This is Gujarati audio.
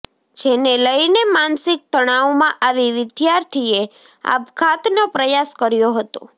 જેને લઈને માનસિક તણાવમાં આવી વિદ્યાર્થીએ આપઘાતનો પ્રયાસ કર્યો હતો